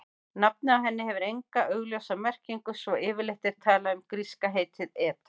Nafnið á henni hefur enga augljósa merkingu svo yfirleitt er talað um gríska heitið eta.